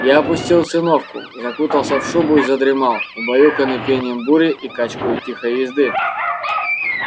я опустил циновку закутался в шубу и задремал убаюканный пением бури и качкою тихой езды